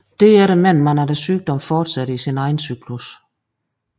Derefter mener man at sygdommen fortsætter i sin egen cyklus